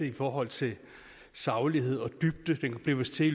i forhold til saglighed og dybde den blev vist til